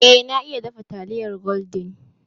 Eh na iya dafa taliyar gwaldin